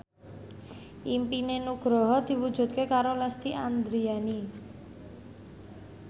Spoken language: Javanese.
impine Nugroho diwujudke karo Lesti Andryani